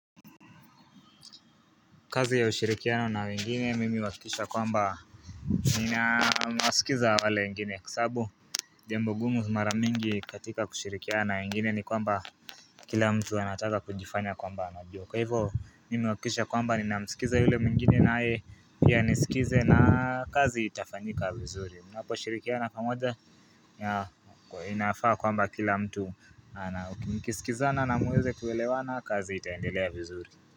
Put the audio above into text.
Kazi ya ushirikiano na wengine mimi huakikisha kwamba ninawasikiza wale wengine kwa sababu jambo gumu mara mingi katika kushirikiana na wengine ni kwamba kila mtu anataka kunjifanya kwamba anajua kwa hivyo mimi huakikisha kwamba ninamsikiza yule mwingine naye pia anisikize na kazi itafanyika vizuri mnapo shirikiana pamoja, inafaa kwamba kila mtu ana. Mkisikizana na muweze kuelewana kazi itaendelea vizuri.